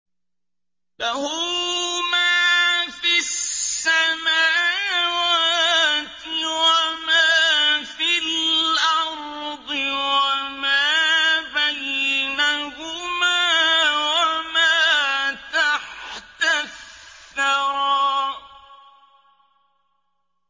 لَهُ مَا فِي السَّمَاوَاتِ وَمَا فِي الْأَرْضِ وَمَا بَيْنَهُمَا وَمَا تَحْتَ الثَّرَىٰ